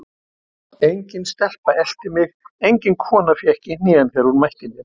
Engin stelpa elti mig, engin kona fékk í hnén þegar hún mætti mér.